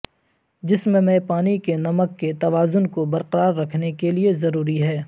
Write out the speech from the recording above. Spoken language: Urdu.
جسم میں پانی کے نمک کے توازن کو برقرار رکھنے کے لئے ضروری ہے